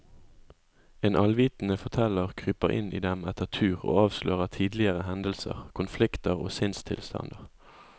En allvitende forteller kryper inn i dem etter tur og avslører tidligere hendelser, konflikter og sinnstilstander.